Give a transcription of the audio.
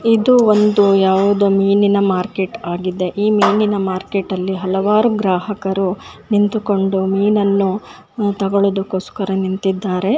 ಇದು ಒಂದು ಯಾವುದೊ ಮೀನಿನ ಮಾರ್ಕೆಟ್ ಆಗಿದೆ ಈ ಮೀನಿನ ಮಾರ್ಕೆಟ್ ಅಲ್ಲಿ ಹಲವಾರು ಗ್ರಾಹಕರು ನಿಂತುಕೊಂಡು ಮೀನನ್ನು ಆ ತಗೋಳುದುಕ್ಕೋಸ್ಕರ ನಿಂತಿದ್ದಾರೆ.